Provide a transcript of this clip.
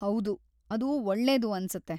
ಹೌದು, ಅದು ಒಳ್ಳೇದು ಅನ್ಸುತ್ತೆ.